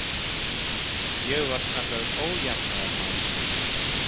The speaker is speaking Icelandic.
Ég var kallaður ójafnaðarmaður.